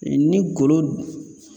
Mɛ ni golo